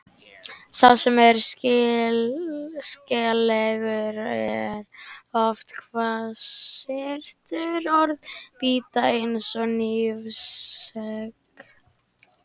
Sá sem er skeleggur er oft hvassyrtur, orðin bíta eins og hnífsegg.